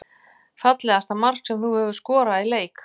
Fallegasta mark sem þú hefur skorað í leik?